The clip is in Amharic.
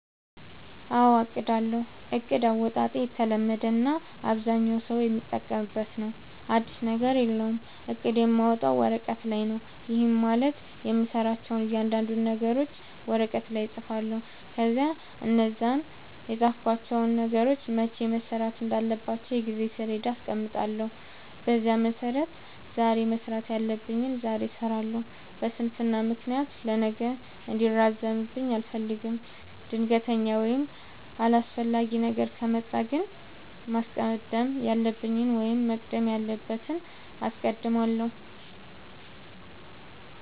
አዎ አቅዳለሁ። እቅድ አወጣጤ የተለመደ እና አብዛኛው ሠው የሚጠቀምበት ነው። አዲስ ነገር የለውም። እቅድ የማወጣው ወረቀት ላይ ነው። ይህም ማለት የምሠራቸውን እያንዳንዱን ነገሮች ወረቀት ላይ እፅፋለሁ። ከዚያ እነዛን የፃፍኳቸውን ነገሮች መቼ መሠራት እንዳለባቸው የጊዜ ሠሌዳ አስቀምጥላቸዋለሁ። በዚያ መሠረት ዛሬ መስራት ያለብኝን ዛሬ እሠራለሁ። በስንፍና ምክንያት ለነገ እንዲራዘምብኝ አልፈልግም። ድንገተኛ ወይም አስፈላጊ ነገር ከመጣ ግን ማስቀደም ያለብኝን ወይም መቅደም ያለበትን አስቀድማለሁ።